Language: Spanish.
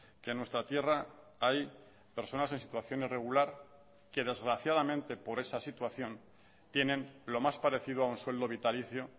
que nuestra tierra hay personas en situación irregular que desgraciadamente por esa situación tienen lo más parecido a un sueldo vitalicio